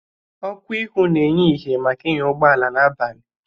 Ọkụ ihu na-enye ihe maka ịnya ụgbọala n'abalị.